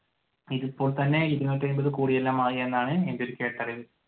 ഇപ്പോൾ തന്നെ ഇരുനൂറ്റി എൺപത് കോടിയെല്ലാം ആയി എന്നാണ് എന്റെ ഒരു കേട്ടറിവ്.